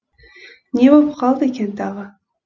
не боп қалды екен тағы